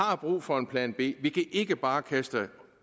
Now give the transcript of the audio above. har brug for en plan b vi kan ikke bare kaste